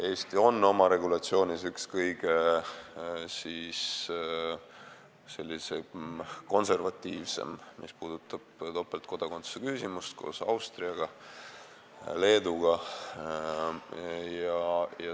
Mis puudutab topeltkodakondsuse küsimust, siis Eesti on oma regulatsiooniga üks kõige konservatiivsemaid koos Austria ja Leeduga.